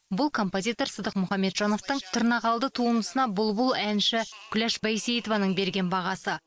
бұл композитор сыдық мұхамеджановтың тырнақалды туындысына бұлбұл әнші күләш байсейітованың берген бағасы